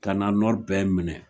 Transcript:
Kana bɛɛ minɛ